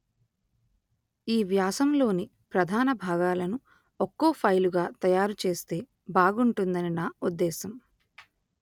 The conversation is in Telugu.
ఈ వ్యాసం లోని ప్రధాన భాగాలను ఒక్కో ఫైలుగా తయారు చేస్తే బాగుంటుందని నా ఉద్దేశ్యం